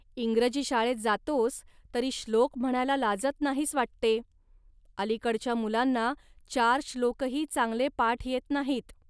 इंग्रजी शाळेत जातोस, तरी श्लोक म्हणायला लाजत नाहीस वाटते. अलीकडच्या मुलांना चार श्लोकही चांगले पाठ येत नाहीत